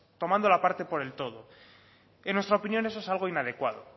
tomando la parte por el todo en nuestra opinión eso es algo inadecuado